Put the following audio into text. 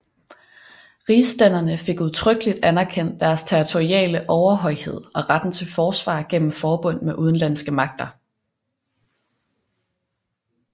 Rigsstænderne fik udtrykkeligt anerkendt deres territoriale overhøjhed og retten til forsvar gennem forbund med udenlandske magter